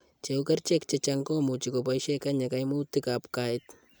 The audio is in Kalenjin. Che u, kerichek chechang' ko much keboishe kenya kaimutikab gait.